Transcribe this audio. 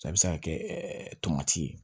A bɛ se ka kɛ tomati ye